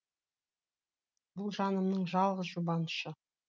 бұл жанымның жалғыз жұбанышы